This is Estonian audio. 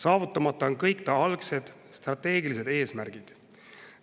Saavutamata on kõik ta algsed strateegilised eesmärgid.